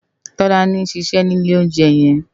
Tolani n ṣiṣè ni ilé óunjè yèn